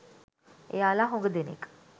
එයාලා හුඟ දෙනෙක්